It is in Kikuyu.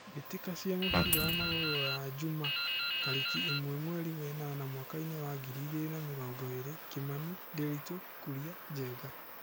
Mbĩtĩka cia mũbira wa magũrũ Ruraya Juma tarĩki ĩmwe mweri wenana mwakainĩ wa ngiri igĩrĩ na mĩrongo ĩrĩ: Kimani, Ndiritu, Kuria ,Njenga.